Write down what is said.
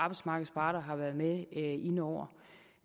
arbejdsmarkedets parter har været med inde over